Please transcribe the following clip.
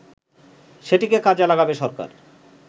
সেটিকে কাজে লাগাবে সরকার